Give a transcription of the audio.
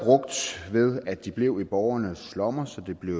brugt ved at de blev i borgernes lommer så der blev